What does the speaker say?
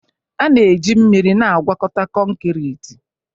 A na-eji mmiri na-agwọkọta konkriti